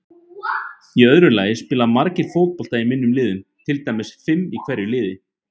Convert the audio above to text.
Í öðru lagi spila margir fótbolta í minni liðum, til dæmis fimm í hverju liði.